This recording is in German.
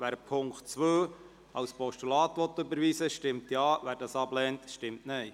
Wer Ziffer 2 als Postulat überweisen will, stimmt Ja, wer dies ablehnt, stimmt Nein.